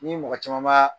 Ni mɔgɔ caman b'a